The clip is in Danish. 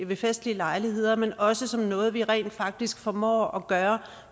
ved festlige lejligheder men også som noget vi rent faktisk formår at gøre